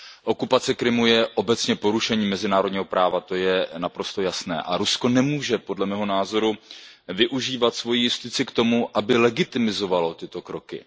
Okupace Krymu je obecně porušením mezinárodního práva, to je naprosto jasné a Rusko nemůže, podle mého názoru, využívat svoji justici k tomu, aby legitimizovalo tyto kroky.